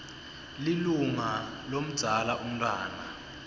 lilunga lomdzala umntfwana